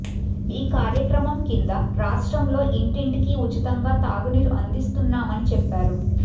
ఈ కార్యక్రమం కింద రాష్ట్రంలో ఇంటింటికీ ఉచితంగా తాగునీరు అందిస్తున్నామని చెప్పారు